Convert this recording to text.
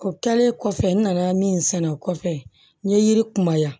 O kɛlen kɔfɛ n nana min sɛnɛ o kɔfɛ n ye yiri kuma yan